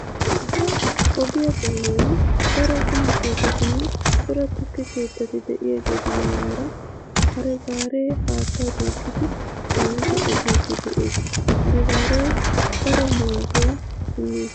Ogiya doonan daro quma keettatinne cora tukke keettati de'yagetu mataara hare gaaree haattaa duuqidi caanidi efiiddi de'ees. Haregaaree daro maaduwa immees.